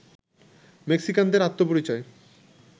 মেক্সিকানদের আত্মপরিচয়